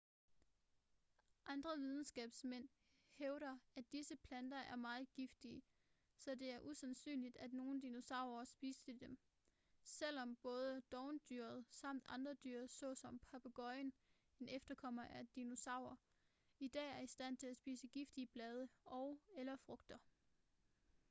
andre videnskabsmænd hævder at disse planter er meget giftige så det er usandsynligt at nogle dinosaurer spiste dem selvom både dovendyret samt andre dyr såsom papegøjen en efterkommer af dinosaurer i dag er i stand til at spise giftige blade og/eller frugter